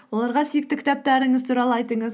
оларға сүйікті кітаптарыңыз туралы айтыңыз